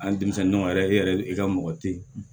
An denmisɛnninw yɛrɛ e yɛrɛ i ka mɔgɔ tɛ ye